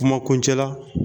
O kuma kuncɛ la